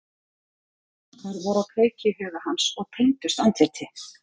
Slíkir þankar voru á kreiki í huga hans og tengdust andliti.